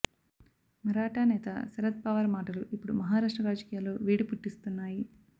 మరాఠా నేత శరద్ పవార్ మాటలు ఇప్పుడు మహారాష్ట్ర రాజకీయాల్లో వేడి పుట్టిస్తున్నాయి